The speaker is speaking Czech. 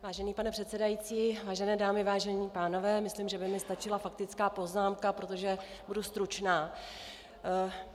Vážený pane předsedající, vážené dámy, vážení pánové, myslím, že by mi stačila faktická poznámka, protože budu stručná.